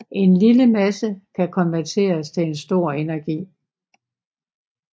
En lille masse kan konverteres til en stor energi